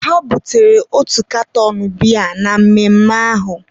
ha butere otu katọn biya na mmemme ahụ